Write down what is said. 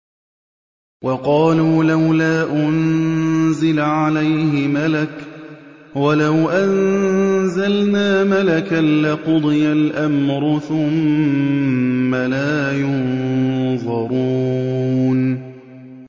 وَقَالُوا لَوْلَا أُنزِلَ عَلَيْهِ مَلَكٌ ۖ وَلَوْ أَنزَلْنَا مَلَكًا لَّقُضِيَ الْأَمْرُ ثُمَّ لَا يُنظَرُونَ